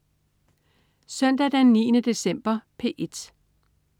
Søndag den 9. december - P1: